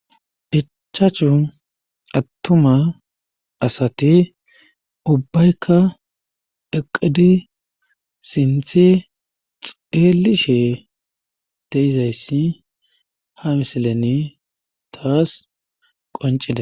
Ichachu attuma asati ubbayka eqqidi sinthe xeellishe de7izayssi ha misileni taas qonccides.